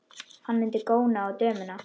Hún mundi góna á dömuna.